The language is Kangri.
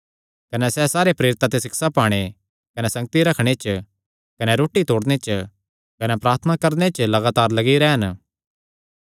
कने सैह़ सारे प्रेरितां ते सिक्षा पाणे कने संगति रखणे च कने रोटी तोड़णे च कने प्रार्थना करणे च लगातार लग्गी रैह़न